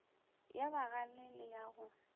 ya bagale le ya go